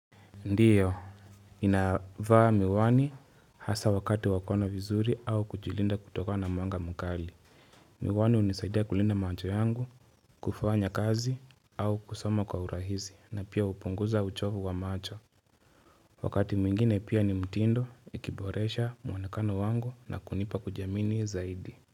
Ndiyo inavaa miwani hasa wakati wa kuona vizuri au kujilinda kutokana mwanga mkali Miwani hunisaidia kulinda macho yangu kufanya kazi au kusoma kwa urahizi na pia upunguza uchovu wa macho Wakati mwingine pia ni mtindo ikiboresha mwonekano wangu na kunipa kujiamini zaidi.